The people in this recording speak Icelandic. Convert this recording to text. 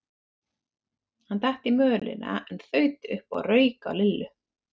Hann datt í mölina en þaut upp og rauk á Lillu.